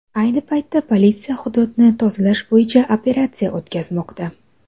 Ayni vaqtda politsiya hududni tozalash bo‘yicha operatsiya o‘tkazmoqda.